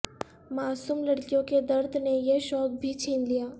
معصوم لڑ کیوں کے درد نے یہ شوق بھی چھین لیا